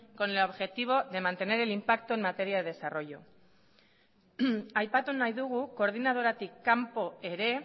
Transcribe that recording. con el objetivo de mantener el impacto en materia de desarrollo aipatu nahi dugu koordinadoratik kanpo ere